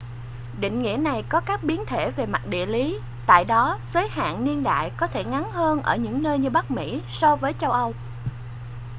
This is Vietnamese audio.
định nghĩa này có các biến thể về mặt địa lý tại đó giới hạn niên đại có thể ngắn hơn ở những nơi như bắc mỹ so với châu âu